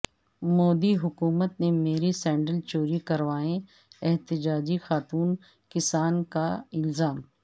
مودی حکومت نے میرے سینڈل چوری کروائے احتجاجی خاتون کسان کا الزام